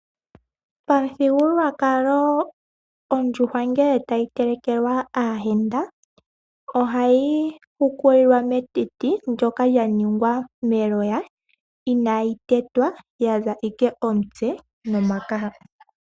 Pamuthigululwakalo ondjuhwa ngele tayi telekelwa aayenda, ohayi hukulilwa metiti ndoka lyaningwa meloya. Inaayi tetwa yaza ashike omutse nomakaha.